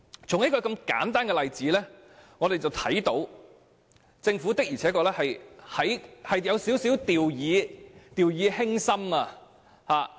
從這個簡單的例子可以看到，政府的確有點掉以輕心。